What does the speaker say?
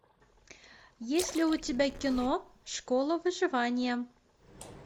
есть ли у тебя кино школа выживания